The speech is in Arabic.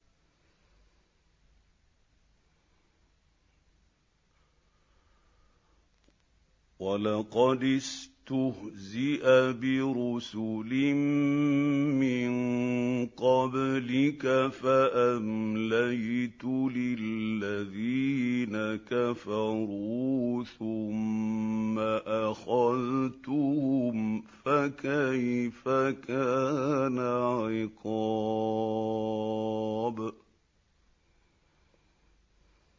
وَلَقَدِ اسْتُهْزِئَ بِرُسُلٍ مِّن قَبْلِكَ فَأَمْلَيْتُ لِلَّذِينَ كَفَرُوا ثُمَّ أَخَذْتُهُمْ ۖ فَكَيْفَ كَانَ عِقَابِ